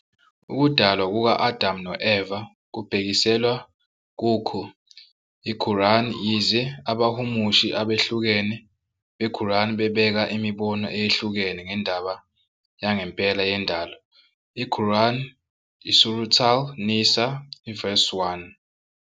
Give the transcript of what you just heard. Ukudalwa kuka-Adam no-Eva kubhekiselwa kukho Qurʼān, yize abahumushi abehlukene beQur'an bebeka imibono eyehlukene ngendaba yangempela yendalo, iQurʼan, iSurat al-Nisaʼ, ivesi 1.